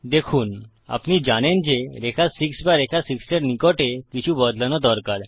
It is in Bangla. দেখুন আপনি জানেন যে রেখা 6 বা রেখা 6 এর নিকটে কিছু বদলানো দরকার